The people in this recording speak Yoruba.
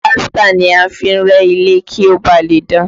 Pílástà ni a fi ń rẹ́ ilé kí ó ba lè dán